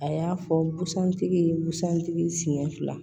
A y'a fɔ busan tigi ye busan tigi siɲɛ fila